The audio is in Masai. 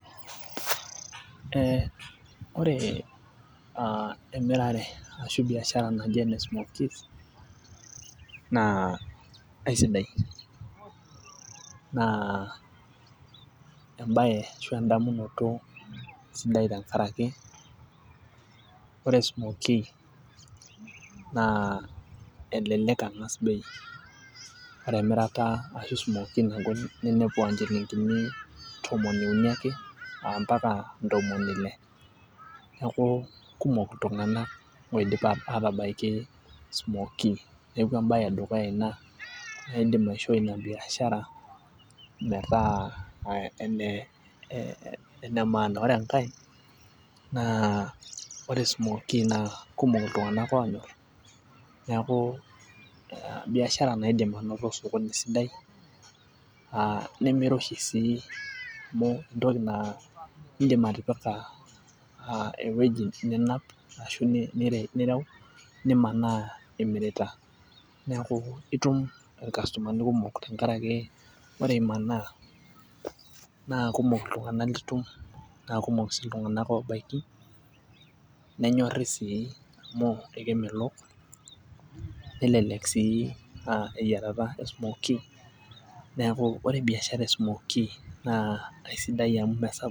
Ee ore aa emirare ashu biashara naji ene smookies. naa aisidai naa ebae ashu edamunoto sidai tenkaraki ore smookie naa melelek ang'as bei ata emirata ashu smookie naagol ninepu aa nchilinkini tomon uni ake aa mpaka ntomoni ile. neeku kumok iltunganak oidim aatabaiki smookie .neeku ebae edukuya Ina, naa idim aishooi Ina biashara. metaa ene maana. ore enkae, naa ore smookie naa kumok iltunganak oonyor, neeku biashara naidim anoto osokoni sidai aa nemirosho sii amu entoki naa idim atipika, aa ewueji ninap, ashu nireu nimanaa imirita. neeku itum ilkastomani kumok tenkaraki ore imanaa naa kumok iltunganak litum. naa kumok sii iltunganak oobaiki. nenyorri sii. amu ekemelok melelek sii eyiarata e smookie .neeku ore biashara e smookie aisidai oleng amu.